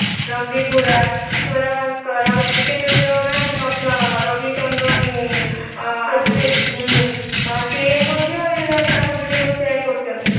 ରନଦୀପ ହୁଡା ସ୍ଵରା ଭାସ୍କର ଆଉ cricketer ଯୋଉ ନାହାନ୍ତି ରବି ଚନ୍ଦନ ଅସ୍ଵାନ ହୁଁ । ସେ ମଧ୍ୟ ତାଙ୍କ videoକୁ share କରିଛନ୍ତି।